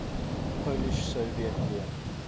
polish soviet war